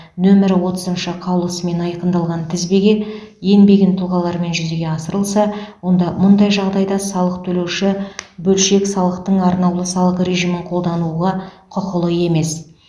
нөмірі отызыншы қаулысымен айқындалған тізбеге енбеген тұлғалармен жүзеге асырылса онда мұндай жағдайда салық төлеуші бөлшек салықтың арнаулы салық режимін қолдануға құқылы емес